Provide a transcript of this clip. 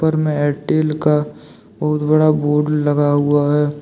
में एयरटेल का बहुत बड़ा बोर्ड लगा हुआ है।